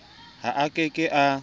ha a ke ke a